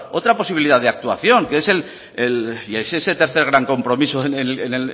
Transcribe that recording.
otra posibilidad de actuación que es el tercer gran compromiso en